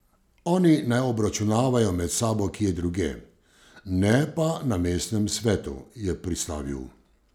Oni naj obračunavajo med sabo kje drugje, ne pa na mestnem svetu, je pristavil.